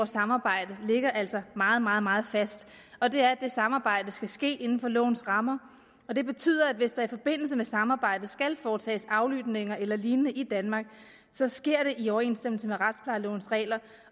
samarbejde ligger altså meget meget meget fast og det er at det samarbejde skal ske inden for lovens rammer det betyder at det hvis der i forbindelse med samarbejdet skal foretages aflytninger eller lignende i danmark så sker i overensstemmelse med retsplejelovens regler